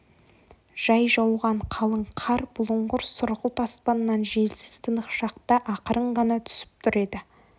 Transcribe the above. жай жауған қалың қар бұлыңғыр сұрғылт аспаннан желсіз тынық шақта ақырын ғана түсіп тұр еді